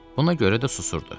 Buna görə də susurdu.